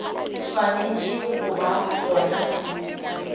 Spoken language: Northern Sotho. swanetše go ba gona pele